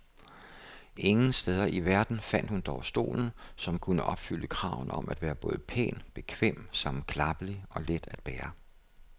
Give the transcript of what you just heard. Ingen steder i verden fandt hun dog stolen, som kunne opfylde kravene om at være både pæn, bekvem, sammenklappelig og let at bære.